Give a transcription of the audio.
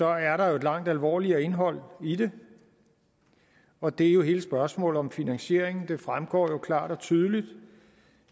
er der jo et langt alvorligere indhold i det og det er jo hele spørgsmålet om finansieringen det fremgår jo klart og tydeligt